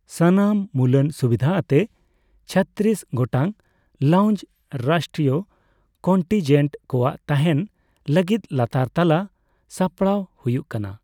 ᱥᱟᱱᱟᱢ ᱢᱩᱞᱟᱱ ᱥᱩᱵᱤᱫᱷᱟ ᱟᱛᱮ ᱪᱷᱚᱛᱨᱤᱥ ᱜᱚᱴᱟᱝ ᱞᱟᱣᱩᱧᱡᱽ, ᱨᱟᱥᱴᱨᱤᱭᱚ ᱠᱚᱱᱴᱤᱱᱡᱮᱱᱴ ᱠᱚᱣᱟᱜ ᱛᱟᱦᱮᱱ ᱞᱟᱹᱜᱤᱫ ᱞᱟᱛᱟᱨ ᱛᱟᱞᱟ ᱥᱟᱯᱲᱟᱣ ᱦᱩᱭᱩᱜ ᱠᱟᱱᱟ ᱾